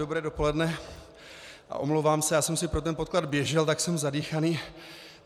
Dobré dopoledne a omlouvám se, já jsem si pro ten podklad běžel, tak jsem zadýchaný.